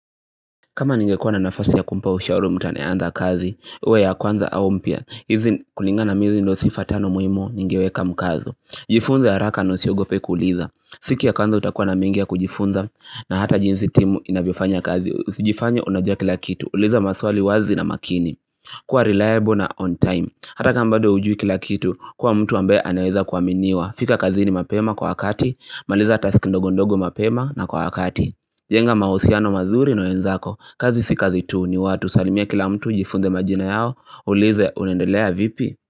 Kama ningekuwa na nafasi ya kumpa ushauri mtu anayeanza kazi, iwe ya kwanza au mpya, hizi kulingana na mimi hizi ndo sifa tano muhimi ningeweka mkazo Jifunze ya haraka na usiogope kuuliza, siku ya kwanza utakuwa na mengi ya kujifunza na hata jinsi timu inavyofanya kazi, usijifanyr unajua kila kitu, uliza maswali wazi na makini kuwa reliable na on time, hata kama bado hujui kila kitu, kuwa mtu ambaye anaweza kuaminiwa, fika kazini mapema kwa wakati, maliza taski ndogondogo mapema na kwa wakati jenga mahusiano mazuri na wenzako, kazi si kazi tu ni watu salimia kila mtu jifunze majina yao, uulize unaendelea vipi?